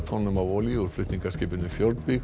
tonnum af olíu úr flutningaskipinu